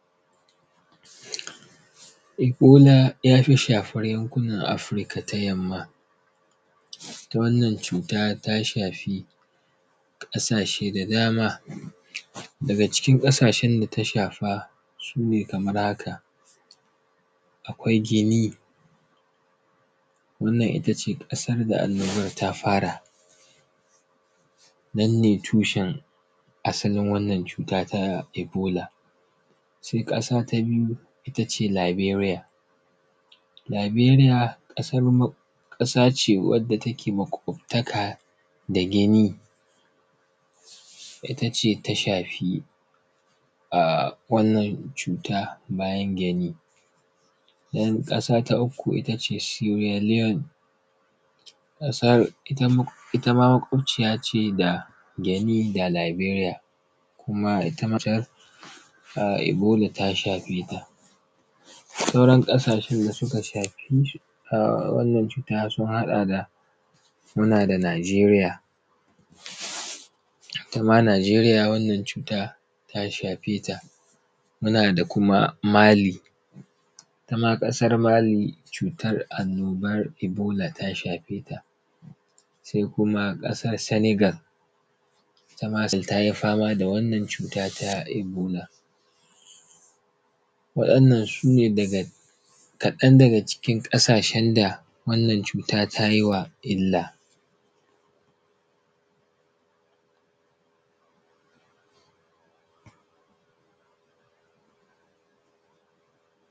Ebola ya fi shafar Afirka ta Yamma. Ita wannan cuta ta shafi, ƙasashe da dama,. Daga cikin ƙasashen da ta shafa su ne kamar haka: Akwai Guinea. Wannan ita ce ƙasar da annoban ta fara, nan ne tushen asalin wannan cuta ta ebola. Sai ƙasa ta biyu ita ce Liberia, Liberia ƙasa, ƙasa ce wadda take maƙwabtaka da Guinea. Ita ce ta shafi aaah, wannan cuta bayan Guinea. Sai ƙasa ta uku, ita ce Sierra Leone, ƙasar ita, ita ma maƙwabaciya ce da Guinea da Liberia, kuma ita matsayar ahh, ebola ta shafe ta. Sauran ƙasashen da suka shafi ahh, wannan cuta sun haɗa da, muna da Nigeriya. Ita ma Nigeriya wannan cuta ta shafe ta. Muna da kuma Mali, ita ma ƙasar Mali cutar annoban ebola ta shafe ta. Sai kuma ƙasar Senegal, ita ma Senegal ta yi fama da wannan cuta ta ebola. Waɗannan su ne daga kaɗan daga cikin ƙasashen da wannan cuta ta yi wa illa.